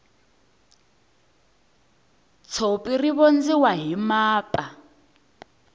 tshopi ri vondziwa hi mapa